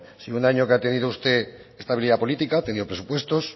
si en un año que ha tenido usted estabilidad política ha tenido presupuestos